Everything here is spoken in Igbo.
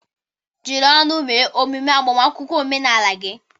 Jiri ọṅụ mee ememe agbamakwụkwọ omenala gị.